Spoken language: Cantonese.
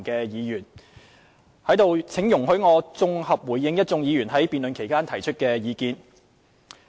現在讓我綜合回應各位議員在辯論期間提出的意見。